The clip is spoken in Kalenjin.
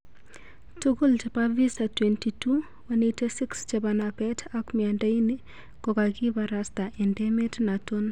Tugul chepo visa 22,186 chepo napeet ap miando ini kokakiparasta en emet naton